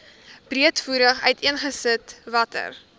breedvoerig uiteengesit watter